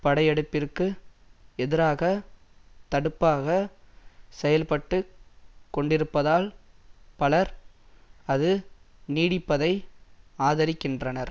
படையெடுப்பிற்கு எதிராக தடுப்பாக செயல்பட்டு கொண்டிருப்பதால் பலர் அது நீடிப்பதை ஆதரிக்கின்றனர்